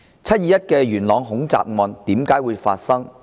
"七二一"元朗恐襲案為何會發生呢？